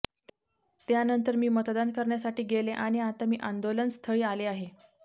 त्यानंतर मी मतदान करण्यासाठी गेले आणि आता मी आंदोलनस्थळी आले आहे